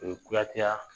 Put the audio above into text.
O ye kuyateya